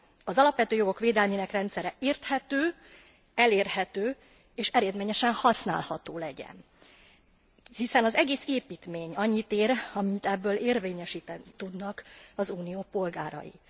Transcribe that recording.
Az alapvető jogok védelmének rendszere érthető, elérhető és eredményesen használható legyen, hiszen az egész építmény annyit ér, amennyit ebből érvényesíteni tudnak az Unió polgárai.